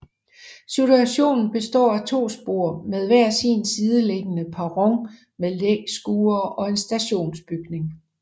Stationen består af to spor med hver sin sideliggende perron med læskure og en stationsbygning